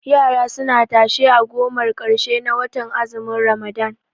Yara suna tashe a gomar ƙarshe na watan azumin ramadan